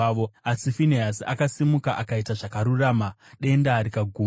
Asi Finehasi akasimuka, akaita zvakarurama, denda rikaguma.